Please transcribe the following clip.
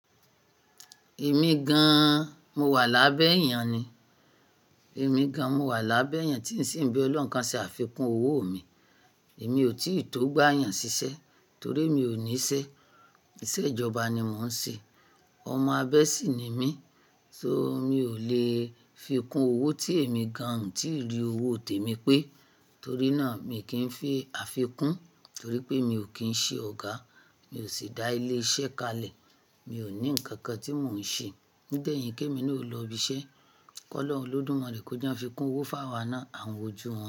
Èmi gan-an, mo wà lábẹ́ èèyàn ni. Èmi gan-an mo wà lábẹ́ èèyàn tí ó sì ń bí Ọlọ́run kan ṣe àfikún owó mi. Èmi ò tí ì tó gbà èèyàn ṣiṣẹ́ torí èmi ò ní iṣẹ́. Iṣẹ́ ìjọba ni mò ń ṣe. Ọmọ abẹ sí ni mí, so mi ò lè fi kún owó tí èmi gan-an ò tí ì rí owó tèmi pé. Torí náà mi kì í fi àfikún torí pé mi ò kín ṣe ọ̀gá, mi ò sì dá ilé iṣẹ́ kalẹ̀. Mi ò ní nǹkan kan tí mò ń ṣe. Ó dẹ̀ yẹ kí èmi náà o lọ ibi iṣẹ́. Kọ́ lọ́hun olọ́dùmarè kó jẹ́ a fi kún owó fáwà náà a hún wo ojú wọn.